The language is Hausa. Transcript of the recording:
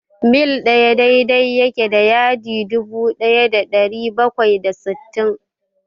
mil ɗaya daidai yake da yadi dubu ɗaya da ɗari bakwai da sittin.